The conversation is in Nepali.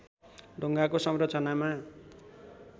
ढुङ्गाको संरचनामा